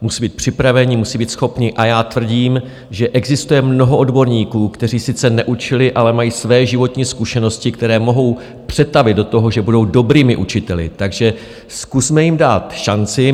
musí být připraveni, musí být schopní, a já tvrdím, že existuje mnoho odborníků, kteří sice neučili, ale mají své životní zkušenosti, které mohou přetavit do toho, že budou dobrými učiteli, takže zkusme jim dát šanci.